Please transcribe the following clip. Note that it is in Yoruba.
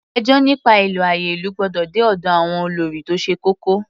Ẹjọ́ nípa ìlò àyè ìlú gbọ́dọ̀ dé ọ̀dọ̀ àwọn olórí tó ṣe kókó.